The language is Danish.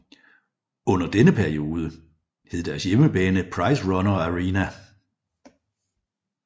Under denne periode hed deres hjemmebane PriceRunner Arena